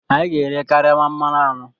Anyị ga-ere karama mmanụ anọ.